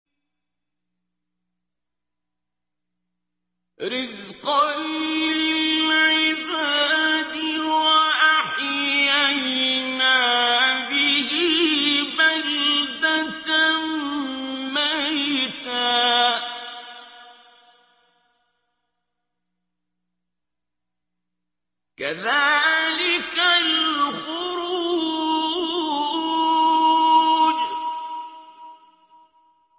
رِّزْقًا لِّلْعِبَادِ ۖ وَأَحْيَيْنَا بِهِ بَلْدَةً مَّيْتًا ۚ كَذَٰلِكَ الْخُرُوجُ